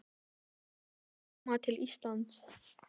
Þegar þau hjónin koma til Íslands